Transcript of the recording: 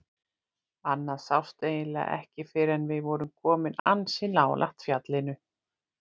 Annað sást eiginlega ekki fyrr en við vorum komin ansi nálægt fjallinu.